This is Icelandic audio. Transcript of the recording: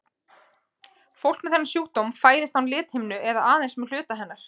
Fólk með þennan sjúkdóm fæðist án lithimnu eða aðeins með hluta hennar.